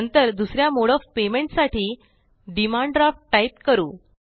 नंतर दुसऱ्या mode of payments साठी डिमांड ड्राफ्ट टाइप करू